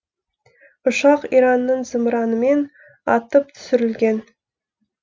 ұшақ иранның зымыранымен атып түсірілген